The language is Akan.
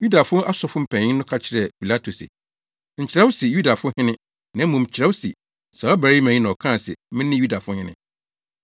Yudafo asɔfo mpanyin no ka kyerɛɛ Pilato se, “Nkyerɛw se, ‘Yudafo hene’ na mmom kyerɛw se, ‘Saa ɔbarima yi na ɔkaa se mene Yudafo hene!’ ”